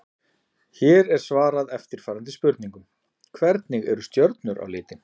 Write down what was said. Hér er svarað eftirfarandi spurningum: Hvernig eru stjörnur á litinn?